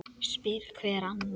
spyr hver annan.